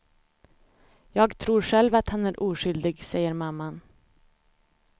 Jag tror själv att han är oskyldig, säger mamman.